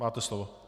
Máte slovo.